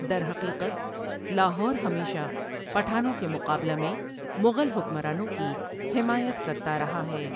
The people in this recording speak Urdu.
درحقیقت لاہور ہمیشہ پٹھانوں کے مقابلہ میں مغل حکمرانوں کی حمایت کرتا رہا ہے ۔